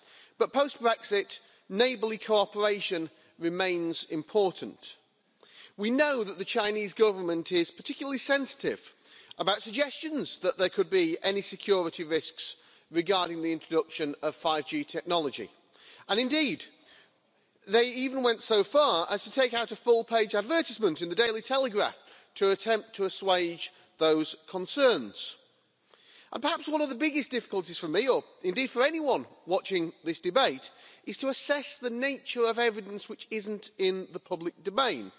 But post Brexit neighbourly cooperation remains important. We know that the Chinese Government is particularly sensitive about suggestions that there could be any security risks regarding the introduction of 5G technology, and indeed they even went so far as to take out a full page advertisement in the to attempt to assuage those concerns. And perhaps one of the biggest difficulties for me or indeed for anyone watching this debate is to assess the nature of evidence which isn't in the public domain.